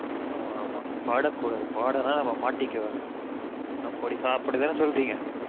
ஆமா மா பாடக்கூடாது பாடுனா நம்ம மாட்டிக்கிடுவாங்க அப்டி தான சொல்றீங்க